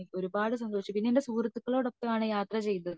എനിക്ക് ഒരുപാട് സന്തോഷിച്ചു പിന്നെ ഞാൻ എന്റെ സുഹൃത്തുക്കളോടൊപ്പം ആണ് യാത്ര ചെയ്തത്